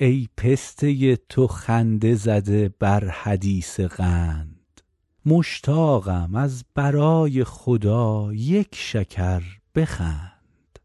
ای پسته تو خنده زده بر حدیث قند مشتاقم از برای خدا یک شکر بخند